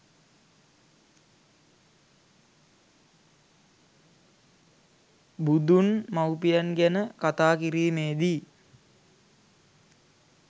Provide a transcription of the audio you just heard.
බුදුන් මවුපියන් ගැන කතා කිරීමේ දී